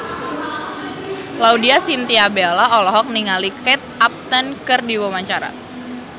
Laudya Chintya Bella olohok ningali Kate Upton keur diwawancara